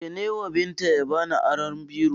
Ce newa Binta ya bani aron biro